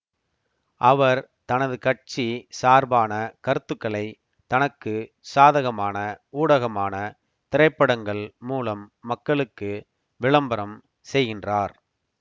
அவர் தனது கட்சி சார்பான கருத்துக்களை தனக்கு சாதகமான ஊடகமான திரைப்படங்கள் மூலம் மக்களுக்கு விளம்பரம் செய்கின்றார்